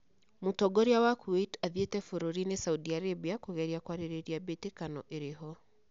Mũtongoria wa Kuwait athiete bũrũrinĩ Saudi Aribia kũgeria kwarĩrĩria mbĩtĩkano ĩroho